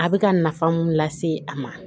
A bɛ ka nafa mun lase a ma